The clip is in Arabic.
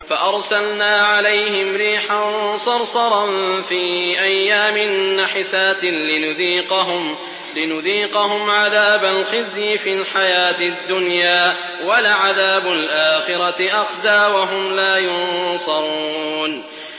فَأَرْسَلْنَا عَلَيْهِمْ رِيحًا صَرْصَرًا فِي أَيَّامٍ نَّحِسَاتٍ لِّنُذِيقَهُمْ عَذَابَ الْخِزْيِ فِي الْحَيَاةِ الدُّنْيَا ۖ وَلَعَذَابُ الْآخِرَةِ أَخْزَىٰ ۖ وَهُمْ لَا يُنصَرُونَ